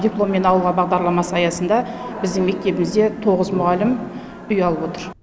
дипломмен ауылға бағдарламасы аясында біздің мектебімізде тоғыз мұғалім үй алып отыр